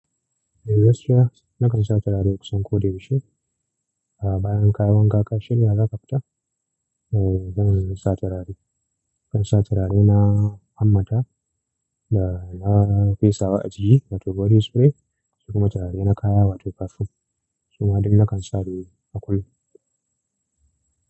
Nakan sa turare kusan ko da yaushe Ah, bayan kayan gaƙa shirya za ka fita, eh, zan sa turare. Zan sa turare na Hammata da na fesa wa ajiki wato body spry kuma turare na kaya wato perfume. Su ma duk nakan sa su a kullum.